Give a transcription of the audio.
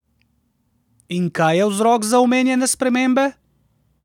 In kaj je vzrok za omenjene spremembe?